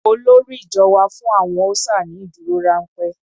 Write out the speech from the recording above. Olórí ìjọ wá fún àwọn ọ́ṣà ní ìdúrórámpẹ́.